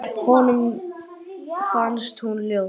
Honum fannst hún ljót.